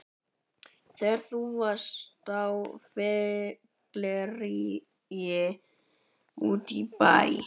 Þegar þú varst á fylliríi úti í bæ!